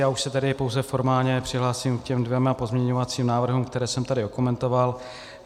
Já už se tady pouze formálně přihlásím k těm dvěma pozměňovacím návrhům, které jsem tady okomentoval.